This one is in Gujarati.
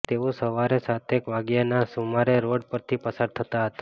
તેઓ સવારે સાતેક વાગ્યાના સુમારે રોડ પરથી પસાર થતા હતા